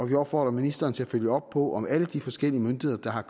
vil opfordre ministeren til at følge op på om alle de forskellige myndigheder der har at